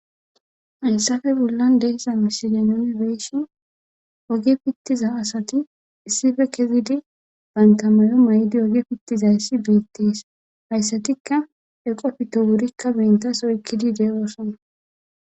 Hayssafe bollan deesa miside nuni beeshin oge pittiza asati issife kezidi bantamayo may7di oge pittizayssi beettees hayssatikka eqo pito wurikka bentas oykkidi de'oosona.